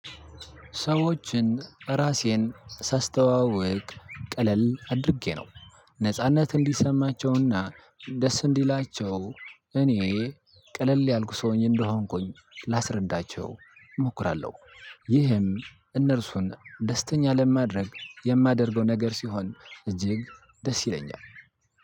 ሰዎችን እራሴን ሳስተዋውቅ ቀለል አድርጌ ነው ነጻነት እንዲሰማቸውና ደስ እንዲላቸው እኔ ቀለል ያልክ ሰው እንደሆንኩኝ ላስረዳቸው እሞክራለሁ። ይህም እነርሱን ደስተኛ ለማድረግ የማደርገው ነገር ሲሆን እጅግ ደስ ይለኛል